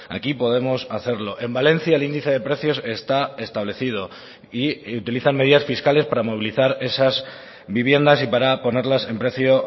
aquí podemos hacerlo en valencia el índice de precios está establecido y utilizan medidas fiscales para movilizar esas viviendas y para ponerlas en precio